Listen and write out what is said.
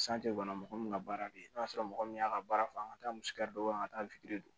kɔnɔ mɔgɔ min ka baara de ye n'o y'a sɔrɔ mɔgɔ min y'a ka baara fɔ an ka taa misi da don an ka taa